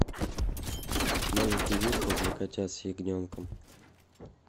маленький вискас для котят с ягненком